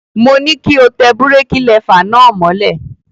Mo ní kí o tẹ búrékí lẹfà náà mọ́lẹ̀.